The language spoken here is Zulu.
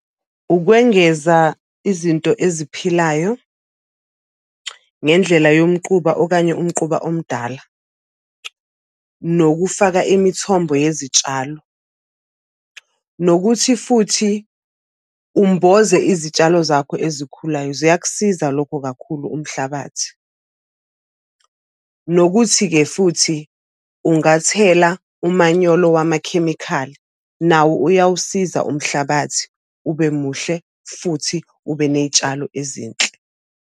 Ukwengeza izinto eziphilayo ngendlela yomquba okanye umquba omdala, nokufaka imithombo yezitshalo, nokuthi futhi umboze izitshalo zakho ezikhulayo ziyakusiza lokho kakhulu umhlabathi. Nokuthi-ke futhi ungathela umanyolo wamakhemikhali, nawo uyawusiza umhlabathi ube muhle futhi ube ney'tshalo ezinhle.